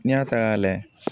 N'i y'a ta k'a layɛ